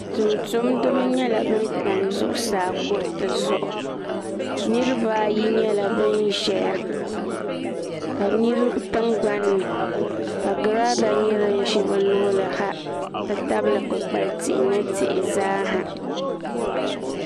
tumtumdiba nyɛla bin tam zuɣusaa kuriti zuɣu niraba ayi nyɛla bin ƶɛya ka di nyɛ tingbanni ka girada nyɛ din ʒɛ bi luɣuli ni ha n ti tabili kpukpali tihi ni tihi zaa ha